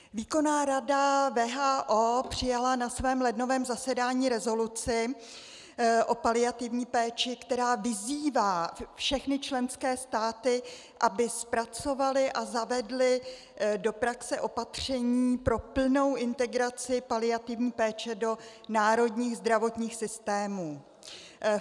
Výkonná rada WHO přijala na svém lednovém zasedání rezoluci o paliativní péči, která vyzývá všechny členské státy, aby zpracovaly a zavedly do praxe opatření pro plnou integraci paliativní péče do národních zdravotních systémů.